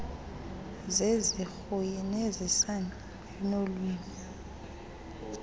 zesirhoyi nesisan nolwimi